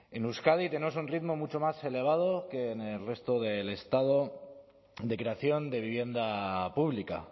en euskadi tenemos un ritmo mucho más elevado que en el resto del estado de creación de vivienda pública